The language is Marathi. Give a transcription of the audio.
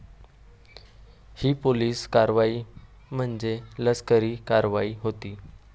हि पोलीस कारवाई म्हणजे लष्करी कारवाई होती.